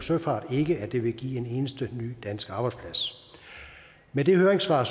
søfart ikke at det vil give en eneste ny dansk arbejdsplads med det høringssvar